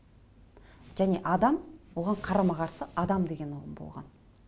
және адам оған қарама қарсы оған адам деген ұғым болған